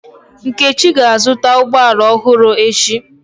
Nkechi ga-azụta ụgbọ ala ọhụrụ echi.